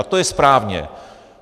A to je správně.